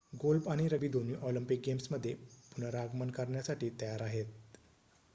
golf आणि rugby दोन्ही Olympic गेम्समध्ये पुनरागमन करण्यासाठी तयार आहेत